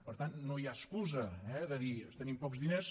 per tant no hi ha excusa eh de dir tenim pocs diners